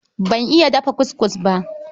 Ban iya dafa kuskus ba.